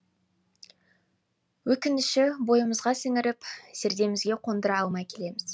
өкініші бойымызға сіңіріп зердемізге қондыра алмай келеміз